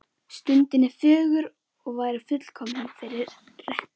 Stundin er fögur og væri fullkomin fyrir rettu.